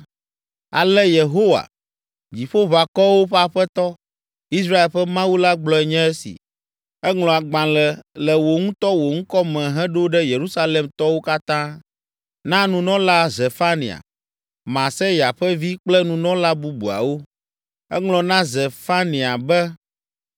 “Ale Yehowa, Dziƒoʋakɔwo ƒe Aƒetɔ, Israel ƒe Mawu la gblɔe nye esi: ‘Eŋlɔ agbalẽ le wò ŋutɔ wò ŋkɔ me heɖo ɖe Yerusalemtɔwo katã, na nunɔla Zefania, Maaseya ƒe vi kple nunɔla bubuawo.’ Eŋlɔ na Zefania be,